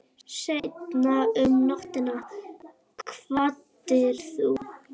Seinna um nóttina kvaddir þú.